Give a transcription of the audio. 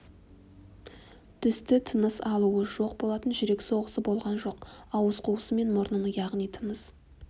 түсті тыныс алуы жоқ болатын жүрек соғысы болған жоқ ауыз қуысы мен мұрнын яғни тыныс